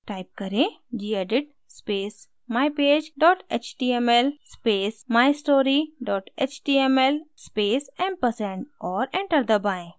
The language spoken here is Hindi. type करें: gedit space mypage html space mystory html space & और enter दबाएँ